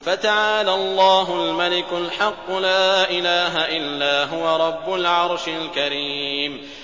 فَتَعَالَى اللَّهُ الْمَلِكُ الْحَقُّ ۖ لَا إِلَٰهَ إِلَّا هُوَ رَبُّ الْعَرْشِ الْكَرِيمِ